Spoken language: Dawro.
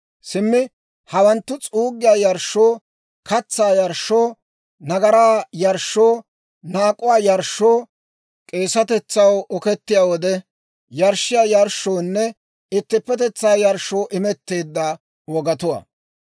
Simmi hawanttu, s'uuggiyaa yarshshoo, katsaa yarshshoo, nagaraa yarshshoo, naak'uwaa yarshshoo, k'eesatetsaw okettiyaa wode yarshshiyaa yarshshoonne ittippetetsaa yarshshoo imetteedda wogatuwaa.